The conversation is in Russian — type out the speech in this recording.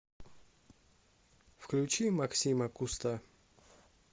включи максима куста